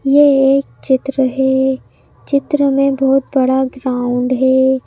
यह एक चित्र है चित्र में बहुत बड़ा ग्राउंड है।